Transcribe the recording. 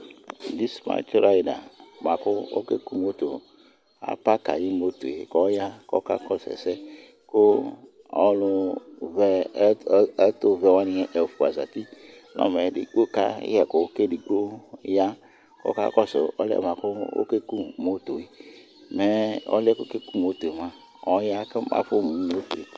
dispatch rider bʋakʋ ɔkɛ kʋ motor, aparki ayi motorɛ kʋ ɔya kʋ ɔkakɔsʋ ɛsɛ kʋ ɔlʋ vɛ, ɛtʋvɛ wani ɛƒʋa zati kʋɔka yɛkʋ kʋ ɛdigbɔ ya kʋ ɔkakɔsʋ ɔlʋɛ bʋakʋ ɔkɛ kʋ motorɛ, mɛ ɔlʋɛ ɔkɛkʋ motorɛ mʋa ɔya kʋ aƒɔ mʋmotorɛ